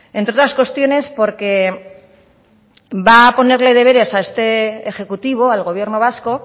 entre otras cuestiones porque va a poner deberes a este ejecutivo al gobierno vasco